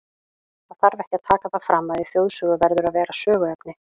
Það þarf ekki að taka það fram, að í þjóðsögu verður að vera söguefni.